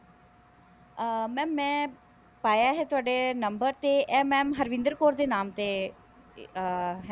ਅਹ mam ਮੈਂ ਪਾਇਆ ਹੈ ਤੁਹਾਡਾ number ਤੇ ਇਹ mam ਹਰਵਿੰਦਰ ਕੌਰ ਦੇ ਨਾਮ ਤੇ ਅਹ ਹੈ